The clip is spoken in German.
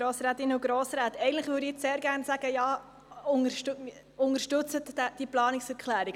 Eigentlich würde ich Ihnen sehr gerne sagen: Unterstützen Sie diese Planungserklärung!